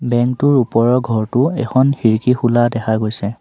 Bank টোৰ ওপৰৰ ঘৰটো এখন খিৰিকী খোলা দেখা গৈছে।